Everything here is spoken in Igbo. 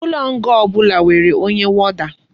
Ulo nga obula nwere onye warder